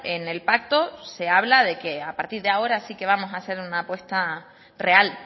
en el pacto se habla de que a partir de ahora sí que vamos a hacer una apuesta real